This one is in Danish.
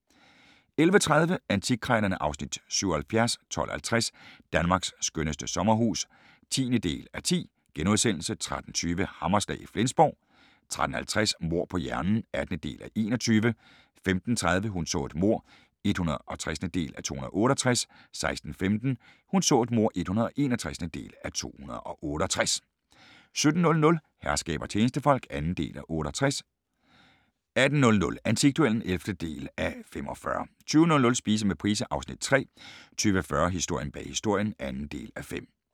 11:30: Antikkrejlerne (Afs. 77) 12:50: Danmarks skønneste sommerhus (10:10)* 13:20: Hammerslag i Flensborg 13:50: Mord på hjernen (18:21) 15:30: Hun så et mord (160:268) 16:15: Hun så et mord (161:268) 17:00: Herskab og tjenestefolk (2:68) 18:00: Antikduellen (11:45) 20:00: Spise med Price (Afs. 3) 20:40: Historien bag Historien (2:5)